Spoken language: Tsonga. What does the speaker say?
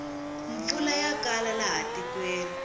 mpfula ya kala laha tikweni